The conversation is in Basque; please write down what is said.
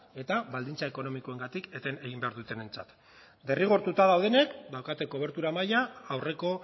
eta baldintza ekonomikoengatik eten egin behar dutenentzat derrigortuta daudenak daukate kobertura maila aurreko